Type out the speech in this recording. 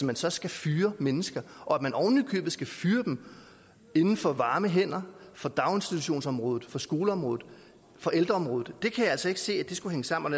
man så skal fyre mennesker og at man oven i købet skal fyre dem inden for varme hænder fra daginstitutionsområdet fra skoleområdet fra ældreområdet kan jeg altså ikke se skulle hænge sammen